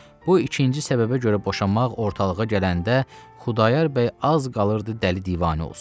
Bu ikinci səbəbə görə boşanmaq ortalığa gələndə, Xudayar bəy az qalırdı dəli divanə olsun.